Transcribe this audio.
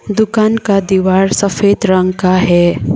दुकान का दीवार सफेद रंग का है।